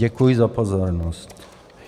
Děkuji za pozornost.